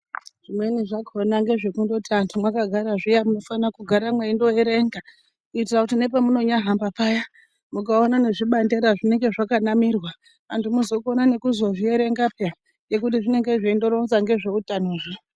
Zvimweni zvakona ngezve kundoti antu maka gara zviya munofana kugara meindo erenga kuitira kuti nepa muno nyahamba paya mukaona nezvi bandera zvinenge zvaka namirwa antu mozokona nekuzo zvierenga peya nekuti zvinenge zveindo ronza ngezve utano zvo.